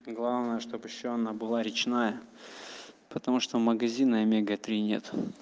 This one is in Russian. главное чтоб ещё она была речная потому что магазины омега-три нет